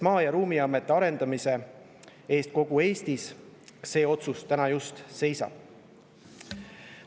Maa‑ ja Ruumiameti arendamist kogu Eestis see otsus täna.